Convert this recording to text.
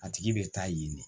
A tigi bɛ taa yen de